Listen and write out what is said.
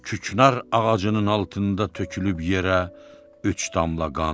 Küknar ağacının altında tökülüb yerə üç damla qan.